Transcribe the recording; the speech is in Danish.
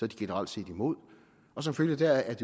de generelt set imod og som følge deraf er